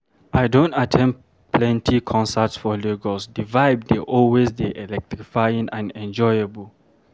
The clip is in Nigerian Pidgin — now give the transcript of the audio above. I don at ten d plenty concerts for Lagos, di vibe dey always dey electrifying and enjoyable.